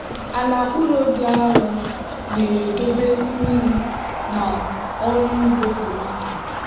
ala ụrọ dị arọ na-edobe mmiri na ọrụ ugbo tomato.